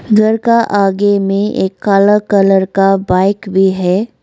घर का आगे में एक काला कलर का बाइक भी है।